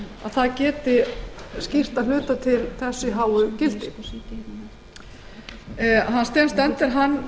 það geti skýrt að hluta til þessi háu gildi steen stender